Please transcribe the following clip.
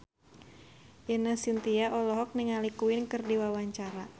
Ine Shintya olohok ningali Queen keur diwawancara